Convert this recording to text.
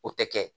O tɛ kɛ